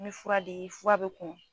Ni fura le ye fura bɛ